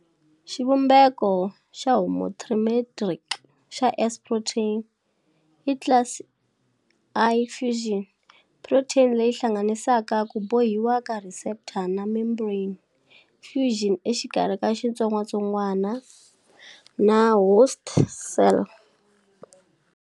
Xivumbeko xa homotrimeric xa S protein i class I fusion protein leyi hlanganisaka ku bohiwa ka receptor na membrane fusion exikarhi ka xitsongwatsongwana na host cell.